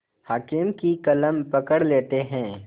हाकिम की कलम पकड़ लेते हैं